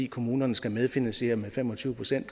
kommunerne skal medfinansiere med fem og tyve procent